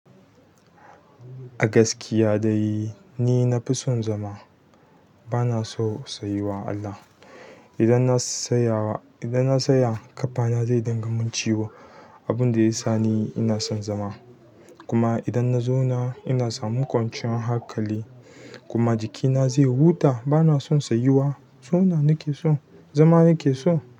A gaskiya dai ni na fi son zama. Bana son tsayuwa Allah. Idan na tsaya, idan na tsaya ƙafana zai dinga min ciwo, abun da ya sa ni ina son zama. Kuma idan na zauna ina samun kwanciyar haƙali kuma jikina zai huta. Bana son sayuwa, zauna nake so, zama nake so.